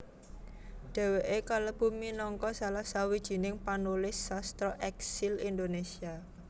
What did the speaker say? Dhèwèké kalebu minangka salah sawijining panulis sastra èksil Indonésia